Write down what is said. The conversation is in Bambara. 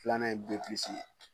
Filanan ye ye